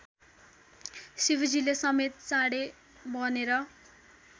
शिवजीले समेत साँढे बनेर